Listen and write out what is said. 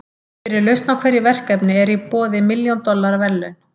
Fyrir lausn á hverju verkefni eru í boði milljón dollara verðlaun.